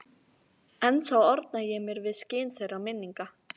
Ennþá orna ég mér við skin þeirra minninga.